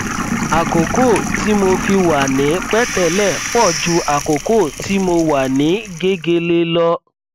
àkókò tí mo fi wà ní pẹtẹlẹ pọ ju àkókò tí mo wà ní gegele lọ